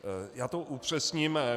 Já to upřesním.